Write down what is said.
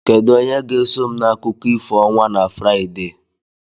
Kedu onye ga-eso m na akụkọ ifo ọnwa na Fraịde?